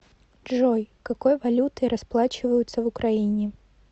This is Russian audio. джой какой валютой расплачиваются в украине